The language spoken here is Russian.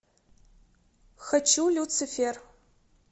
хочу люцифер